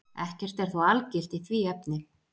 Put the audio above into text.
Ekkert er þó algilt í því efni.